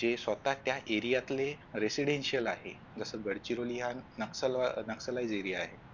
जे स्वत त्या area ले residential आहे जसं गडचिरोली हा नक्षल wise area आहे